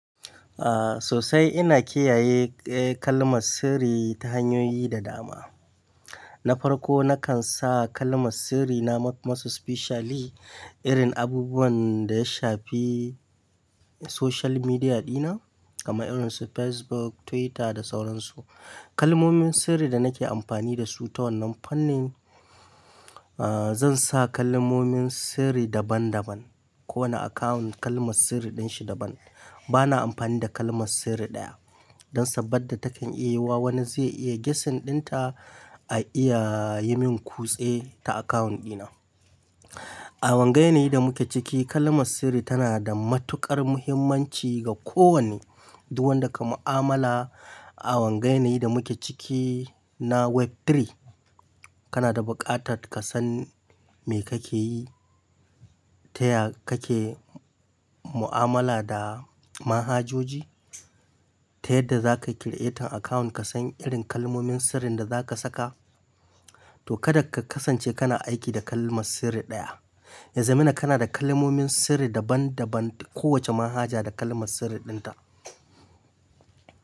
Ah, sosai ina kiyaye kalmar sirri ta hanyoyi da dama. Na farko nakan sa kalmar sirri na ma more specially irin abubuwan da ya shafi social media dina, kamar irin su Facebook, Twitter da sauran su. Kalmomin sirri da nake amfani da su ta wannan fannin, ah zan sa kalmomin sirri daban daban. Ko wani akawun kalmar sirri din shi daban. Bana amfani da kalmar sirri ɗaya don saboda takan iya wa wani zai iya gessin ɗinta, a iya yi min kutse ta akawun ɗina. A wanga yanayin da muke ciki kalmar sirri tana da matuƙar muhimmanci ga ko wane duk wanda ka mu'amala a wanga yana yin da muke ciki na web three. Kana da buƙatar ka san me kake yi, ta ya kake mu'amala da manhajoji, ta yadda za ka creating account ka san irin kalmomin sirrin da za ka saka. To kada ka kasance kana aiki da kalmar sirri ɗaya. Ya zama ina kana da kalmomin sirri dabandaban. Ko wace manhaja da kalmar sirri ɗinta.